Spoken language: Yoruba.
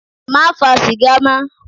Má fa sìgá mọ́.